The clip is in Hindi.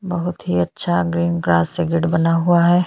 बहुत ही अच्छा ग्रीन ग्रास से गेट बना हुआ है।